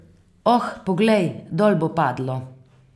Oh, poglej, dol bo padlo.